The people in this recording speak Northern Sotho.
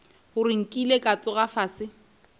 gore nkile ka tsoga fase